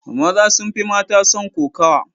Maza sun fi mata son kokowa.